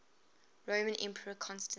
roman emperor constantine